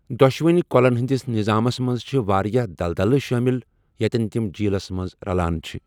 دۄشوٕنی کۄلَن ہنٛدِس نظامَس منٛز چھِ واریاہ دلدلہٕ شٲمِل یتٮ۪ن تِم جیٖلس منٛز اژان چھِ۔